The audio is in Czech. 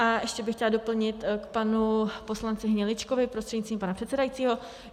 A ještě bych chtěla doplnit k panu poslanci Hniličkovi prostřednictvím pana předsedajícího.